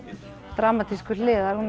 dramatísku hliðar hún